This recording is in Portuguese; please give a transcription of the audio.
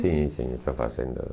Sim, sim, estou fazendo.